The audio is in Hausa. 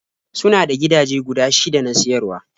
Suna da gidaje guda shida na siyarwa.